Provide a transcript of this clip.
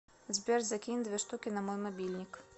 сбер закинь две штуки на мой мобильник